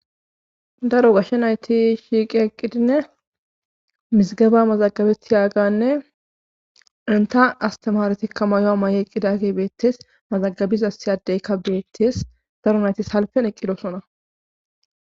Daro gashshe nayti shiiqi eqqidinne mizigaba mazagabeti yaaganne inta astamaretikka mayoa may7eqqida ge beettes mazagabiza siyadeykka beettes daro nayti halfen eqqidosona.